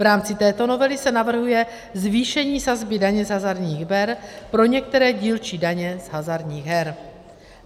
V rámci této novely se navrhuje zvýšení sazby daně z hazardních her pro některé dílčí daně z hazardních her.